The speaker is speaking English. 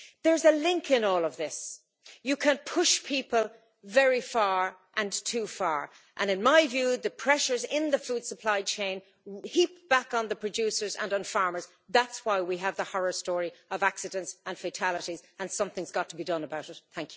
There is a link in all of this. You can push people very far and too far, and in my view the pressures in the food supply chain heap back on the producers and on farmers, that's why we have the horror story of accidents and fatalities, and something's got to be done about it.